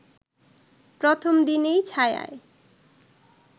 প্রথম দিনেই ছায়ায়